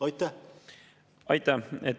Aitäh!